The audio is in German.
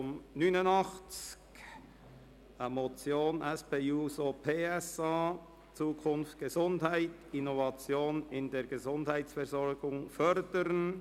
Es ist eine Motion der SP-JUSO-PSA-Fraktion mit dem Titel «Zukunft Gesundheit: Innovationen in der Gesundheitsversorgung fördern».